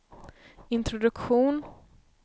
introduktion